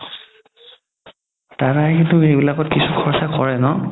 দাদা কিন্তু সেই বিলাকত কিছু খৰচা কৰে ন